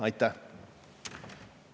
Aitäh!